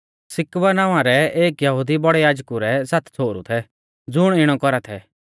सिक्कवा नावां रै एक यहुदी बौड़ै याजकु रै सात छ़ोहरु थै ज़ुण इणौ कौरा थै